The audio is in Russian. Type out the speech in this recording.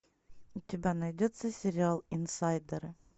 у тебя найдется сериал инсайдеры